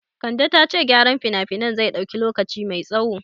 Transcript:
Kande ta ce gyaran finafinan zai dauki lokaci mai tsaho